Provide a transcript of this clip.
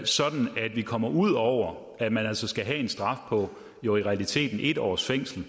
sådan at vi kommer ud over at man skal have en straf på i realiteten en års fængsel